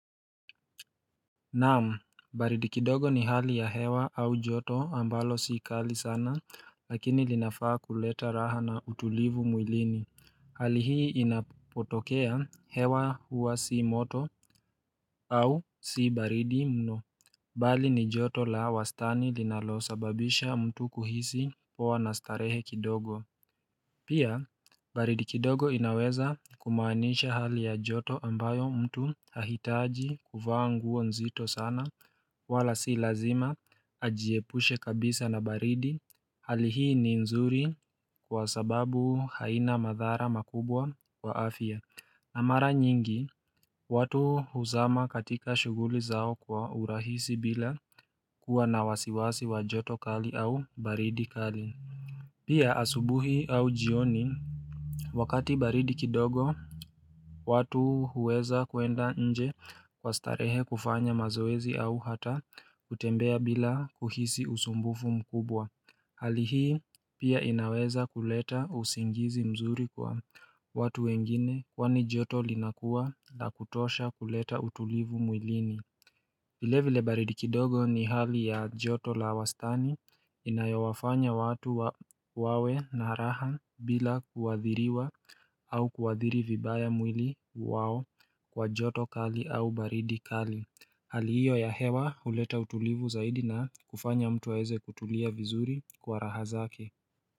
Na'am, baridi kidogo ni hali ya hewa au joto ambalo si kali sana lakini linafaa kuleta raha na utulivu mwilini. Hali hii inapotokea hewa huwa si moto au si baridi mno. Bali ni joto la wastani linalosababisha mtu kuhisi poa na starehe kidogo Pia, baridi kidogo inaweza kumaanisha hali ya joto ambayo mtu hahitaji kuvaa nguo nzito sana wala si lazima ajiepushe kabisa na baridi hali hii ni nzuri kwa sababu haina madhara makubwa wa afya. Na mara nyingi watu huzama katika shughuli zao kwa urahisi bila kuwa na wasiwasi wa joto kali au baridi kali. Pia asubuhi au jioni, wakati baridi kidogo watu huweza kuenda nje kwa starehe kufanya mazoezi au hata kutembea bila kuhisi usumbufu mkubwa Hali hii pia inaweza kuleta usingizi mzuri kwa watu wengine kwani joto linakuwa la kutosha kuleta utulivu mwilini. Vile vile baridi kidogo ni hali ya joto la wastani Inayowafanya watu wawe na raha bila kuathiriwa au kuadhiri vibaya mwili wao kwa joto kali au baridi kali. Hali hiyo ya hewa huleta utulivu zaidi na kufanya mtu aweze kutulia vizuri kwa raha zake.